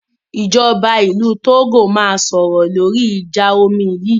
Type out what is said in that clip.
Ìjọba ìlú Togo máa sọ̀rọ̀ lóri ìjà omi yìí.